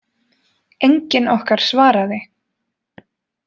Enginn okkar svaraði.